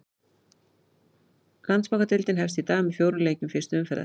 Landsbankadeildin hefst í dag með fjórum leikjum fyrstu umferðar.